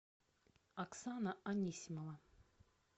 оксана анисимова